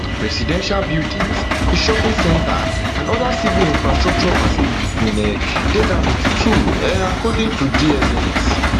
residential buildings a shopping centre and oda civil infrastructure facilities bin um dey damaged too um according to dsns